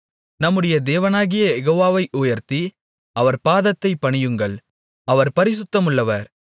நம்முடைய தேவனாகிய யெகோவாவை உயர்த்தி அவர் பாதத்தைப் பணியுங்கள் அவர் பரிசுத்தமுள்ளவர்